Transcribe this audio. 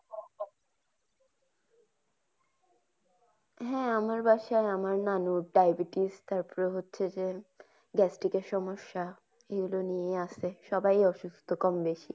হ্যা আমার বাসায় আমার নানুর diabetes । তারপর হচ্ছে যে gastric সমস্যা এগুলো নিয়ে আছে। সবাই অসুস্থ কম বেশি।